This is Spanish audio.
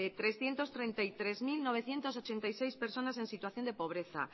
trescientos treinta y tres mil novecientos ochenta y seis personas en situación de pobreza